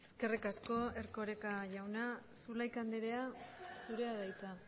eskerrik asko erkoreka jauna zulaika anderea zurea da hitza